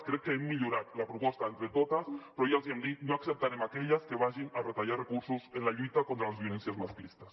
crec que hem millorat la proposta entre totes però ja els ho hem dit no acceptarem aquelles que vagin a retallar recursos en la lluita contra les violències masclistes